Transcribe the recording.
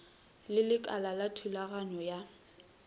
le lekala la thulaganyo ya